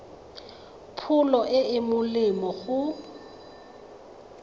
pholo e e molemo go